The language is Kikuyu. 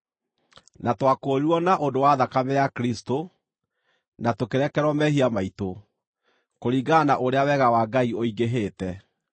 Na twakũũrirwo na ũndũ wa thakame ya Kristũ, na tũkĩrekerwo mehia maitũ, kũringana na ũrĩa wega wa Ngai ũingĩhĩte,